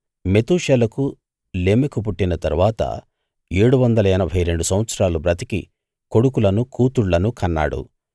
మెతూషెలకు లెమెకు పుట్టిన తరువాత ఏడు వందల ఎనభై రెండు సంవత్సరాలు బ్రతికి కొడుకులను కూతుళ్ళను కన్నాడు